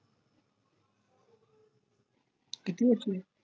किती वर्षाने